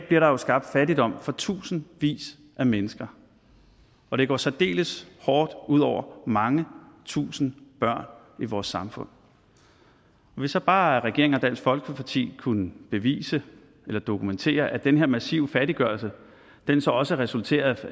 bliver der skabt fattigdom for tusindvis af mennesker og det går særdeles hårdt ud over mange tusind børn i vores samfund hvis så bare regeringen og dansk folkeparti kunne bevise eller dokumentere at den her massive fattiggørelse så også resulterer